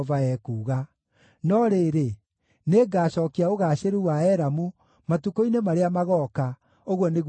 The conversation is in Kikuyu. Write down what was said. “No rĩrĩ, nĩngacookia ũgaacĩru wa Elamu matukũ-inĩ marĩa magooka,” ũguo nĩguo Jehova ekuuga.